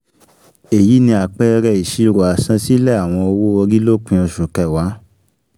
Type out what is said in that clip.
Èyí ni àpẹẹrẹ ìṣirò àsansílẹ̀ àwọn owo-ori lópin Oṣu kẹwàá.